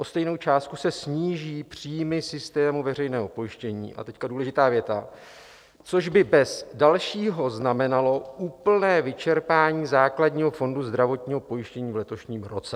O stejnou částku se sníží příjmy systému veřejného pojištění" - a teď důležitá věta - "což by bez dalšího znamenalo úplné vyčerpání základního fondu zdravotního pojištění v letošním roce."